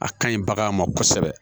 A ka ɲi bagan ma kosɛbɛ